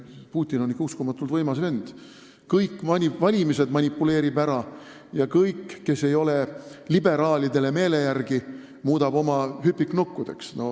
Putin on ikka uskumatult võimas vend – kõikidel valimistel manipuleerib osavalt ja kõik, kes ei ole liberaalidele meele järgi, muudab oma hüpiknukkudeks.